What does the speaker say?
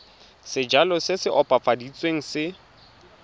sejalo se se opafaditsweng se